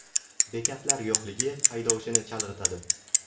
Bekatlar yo‘qligi haydovchini chalg‘itadi.